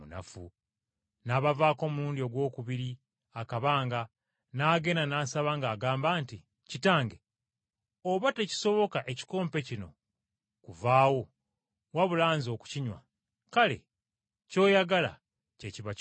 N’abavaako omulundi ogwokubiri akabanga n’agenda n’asaba ng’agamba nti, “Kitange! Oba tekisoboka ekikompe kino kuvaawo wabula Nze okukinywa, kale ky’oyagala kye kiba kikolebwa.”